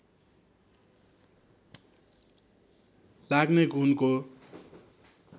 लाग्ने घुनको